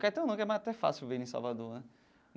Caetano não né que é mais até fácil ver em Salvador né.